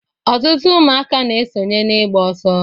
Ọtụtụ ụmụaka na-esonye n'ịgba ọsọ.